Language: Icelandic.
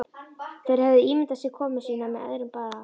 Þeir höfðu ímyndað sér komu sína með öðrum brag.